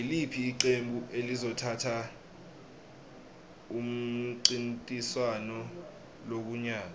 iliphi iqembu elizothatha umncintiswano kulonyaka